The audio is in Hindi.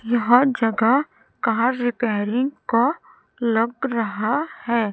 यह जगह कार रिपेयरिंग का लग रहा है।